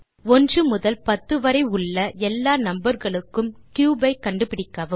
ஒன்று முதல் பத்து வரை உள்ள எல்லா நம்பர் களுக்கும் கியூப் ஐ கண்டுபிடிக்கவும்